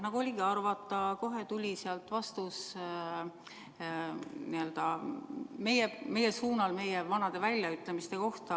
Nagu oligi arvata, tuli kohe sealt vastus meie suunal meie vanade väljaütlemiste kohta.